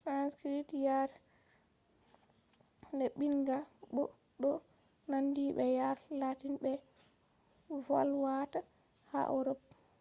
sanskrit yare neɓinga bo ɗo nandi be yare latin ɓe volwata ha europe